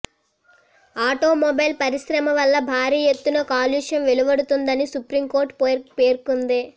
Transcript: automobile పరిశ్రమ వల్ల భారీ ఎత్తున కాలుష్యం వెలువడుతోందని సుప్రీంకోర్టు పేర్కొంది